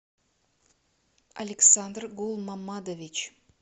александр гулмамадович